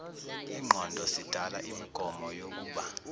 ingqondo sidala imigomoyokuba